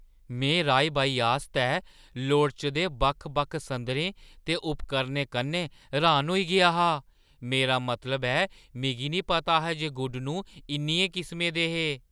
में राही-बाही आस्तै लोड़चदे बक्ख-बक्ख संदरें ते उपकरणें कन्नै र्‌हान होई गेआ हा। मेरा मतलब ऐ, मिगी निं पता हा जे गुडनूं इन्नियें किसमें दे हे ?